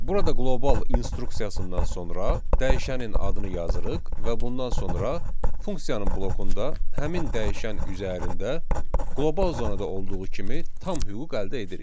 Burada qlobal instruksiyasından sonra dəyişənin adını yazırıq və bundan sonra funksiyanın blokunda həmin dəyişən üzərində qlobal zonada olduğu kimi tam hüquq əldə edirik.